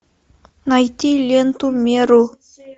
найти ленту меру